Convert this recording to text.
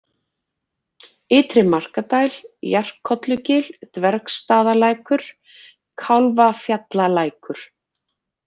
Ytri-Markadæl, Jarkollugil, Dvergsstaðalækur, Kálfafjallalækur